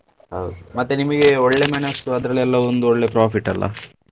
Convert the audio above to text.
ಹೌದು ಮತ್ತೆ ನಿಮಿಗೆ ಒಳ್ಳೆ ಮೆಣಸು ಅದ್ರಲ್ಲೆಲ್ಲಾ ಒಂದು ಒಳ್ಳೆ profit ಅಲ್ಲಾ?